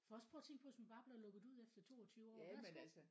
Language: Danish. For også prøv at tænk på hvis man bare blev lukket ud efter 22 år værsgo